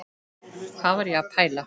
Hvað var ég að pæla?